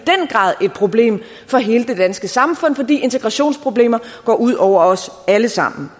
problem for hele det danske samfund fordi integrationsproblemer går ud over os alle sammen